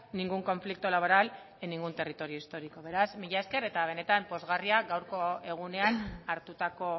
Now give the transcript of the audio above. ningún conflicto laboral en ningún territorio histórico beraz mila esker eta benetan pozgarria gaurko egunean hartutako